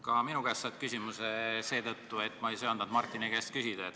Ka minu käest saad sa küsimuse seetõttu, et ma ei söandanud Martini käest küsida.